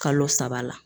Kalo saba la